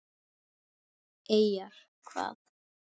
Eyjar hvað?